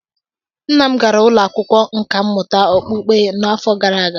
Nna m gara ụlọ akwụkwọ nkà mmụta okpukpe n'afọ gara aga